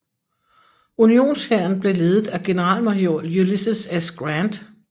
Unionshæren blev ledet af generalmajor Ulysses S